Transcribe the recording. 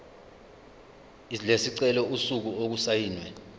lesicelo usuku okusayinwe